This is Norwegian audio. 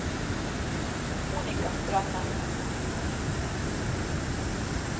Monika Strømme